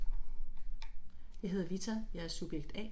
jeg hedder Vita, jeg er subjekt A